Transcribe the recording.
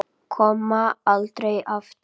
Koma aldrei aftur.